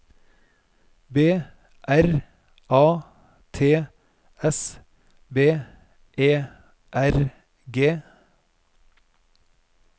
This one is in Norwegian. B R A T S B E R G